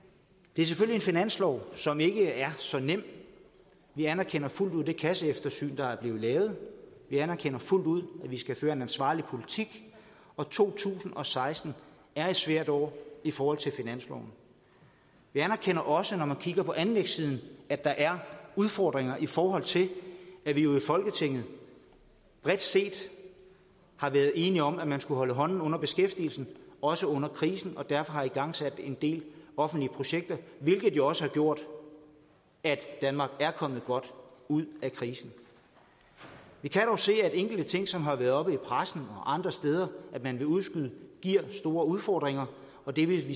det er selvfølgelig en finanslov som ikke er så nem vi anerkender fuldt ud det kasseeftersyn der er blevet lavet vi anerkender fuldt ud at vi skal føre en ansvarlig politik og to tusind og seksten er et svært år i forhold til finansloven vi anerkender også at når man kigger på anlægssiden er der udfordringer i forhold til at vi jo i folketinget bredt set har været enige om at man skulle holde hånden under beskæftigelsen også under krisen og derfor har igangsat en del offentlige projekter hvilket jo også har gjort at danmark er kommet godt ud af krisen vi kan dog se at enkelte ting som det har været oppe i pressen og andre steder at man vil udskyde giver store udfordringer og det vil